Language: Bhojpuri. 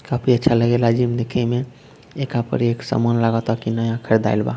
काफी अच्छा लगेला जिम देखेमें एका पर एक सामान लागता की नया खरदाइल बा।